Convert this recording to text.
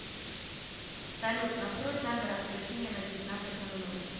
салют настрой таймер отключения на девятнадцать ноль ноль